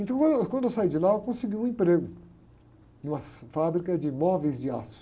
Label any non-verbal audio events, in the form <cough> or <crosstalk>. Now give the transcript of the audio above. Então quando eu, quando eu saí de lá, eu consegui um emprego em uma <unintelligible> fábrica de móveis de aço.